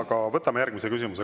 Aga võtame järgmise küsimuse.